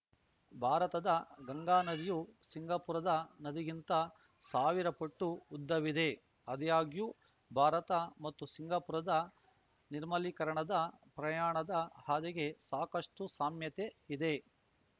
ಭಾರತದ ಗಂಗಾ ನದಿಯು ಸಿಂಗಾಪುರದ ನದಿಗಿಂತ ಸಾವಿರ ಪಟ್ಟು ಉದ್ದವಿದೆ ಆದಾಗ್ಯೂ ಭಾರತ ಮತ್ತು ಸಿಂಗಾಪುರದ ನಿರ್ಮಲೀಕರಣದ ಪ್ರಯಾಣದ ಹಾದಿಗೆ ಸಾಕಷ್ಟುಸಾಮ್ಯತೆ ಇದೆ